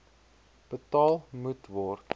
betaal moet word